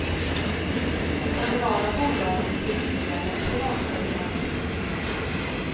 De kommunala bolagen blev billigare än privatföretaget.